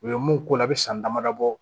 U ye mun ko la a bɛ san damadɔ bɔ